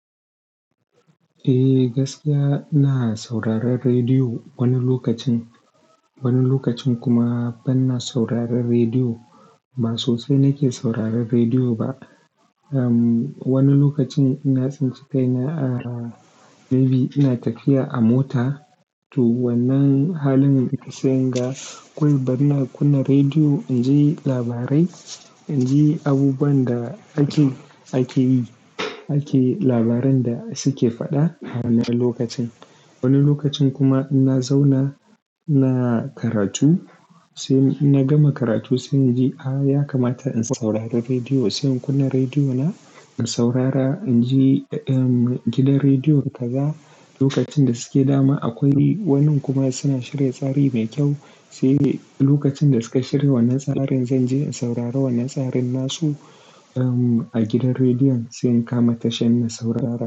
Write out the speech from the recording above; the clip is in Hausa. Eh, gaskiya ina sauraron rediyo wani lokacin. Wani lokacin kuma ban na sauraron rediyo. Ba sosai nake sauraron rediyo ba. Uhm, wani lokacin ina tsince kai na, ah, maybe ina tafiya a mota, to wannan halin sai ga koyi bana kunna rediyo in ji labarai, in ji abubuwan da ake, ake yi, ake labaran da suke faɗa wannan lokacin. Wani lokacin kuma ina zauna ina karatu sai ina gama karatu sai inji, ah, ya kamata in saurari rediyo sai in kunna rediyo na in saurara inji gidan rediyon kaza lokacin da suke dama akwai wani kuma suna shirya tsari mai kyau. Sai lokacin da suka shirya wannan tsarin, zan je in saurara wannan tsarin nasu, uhm, a gidan rediyon sai in kama tashar ina saurara.